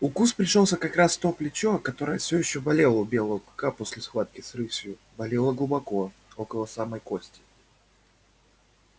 укус пришёлся как раз в то плечо которое всё ещё болело у белого клыка после схватки с рысью болело глубоко около самой кости